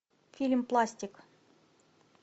фильм пластик